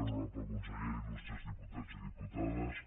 honorable consellera il·lustres diputats i diputades